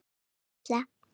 Þín Perla.